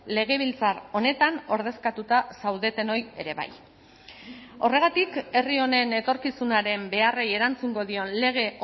legebiltzar honetan ordezkatuta zaudetenoi ere bai horregatik herri honen etorkizunaren beharrei erantzungo dion lege